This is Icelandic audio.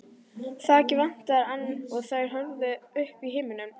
Þakið vantaði enn og þær horfðu upp í himininn.